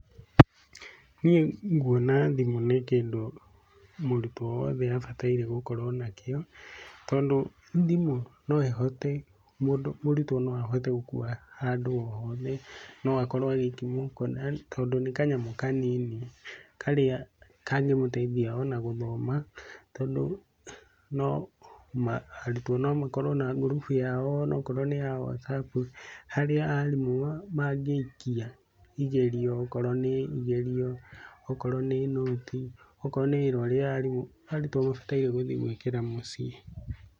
Niĩ nguona thimũ nĩ kĩndũ mũrutwo wothe abataire gũkorwo nakĩo, tondũ thimũ no ĩhote, mũndũ mũrutwo no ahote gũkuwa handũ o hothe, no akorwo agĩiki mũhuko tondũ nĩ kanyamũ kanini karĩa kangĩmũteithia ona gũthoma, tondũ no ma arutwo no makorwo na ngurubu yao, onakorwo nĩ ya WhatsApp, harĩa arimũ mangĩikia igerio, okorwo nĩ igerio, okorwo nĩ nũti, okorwo nĩ wĩra ũrĩa arimũ arutwo mabataire gũthiĩ gũĩkĩra mũciĩ.